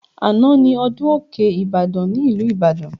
Àná ni ọdún òkè Ibadan ní ìlú Ìbàdàn